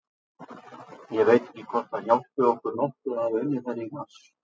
Ég veit ekki hvort að það hjálpi okkur nokkuð að hafa unnið þær í mars.